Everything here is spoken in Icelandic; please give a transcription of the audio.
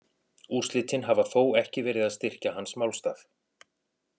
Úrslitin hafa þó ekki verið að styrkja hans málstað.